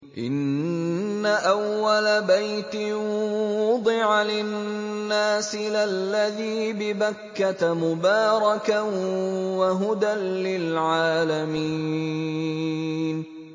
إِنَّ أَوَّلَ بَيْتٍ وُضِعَ لِلنَّاسِ لَلَّذِي بِبَكَّةَ مُبَارَكًا وَهُدًى لِّلْعَالَمِينَ